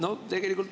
Aitäh!